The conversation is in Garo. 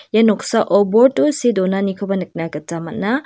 ia noksao board-o see donanikoba nikna gita man·a.